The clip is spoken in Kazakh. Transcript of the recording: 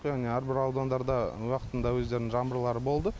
яғни әрбір аудандарда уақытында өздерінің жаңбырлары болды